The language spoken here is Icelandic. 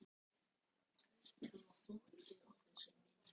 Lagaðir þig að smekk annars fólks.